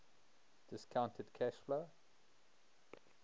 discounted cash flow